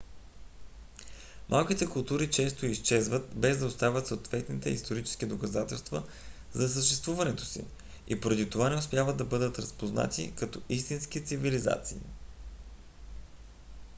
малките култури често изчезват без да оставят съответните исторически доказателства за съществуването си и поради това не успяват да бъдат разпознати като истински цивилизации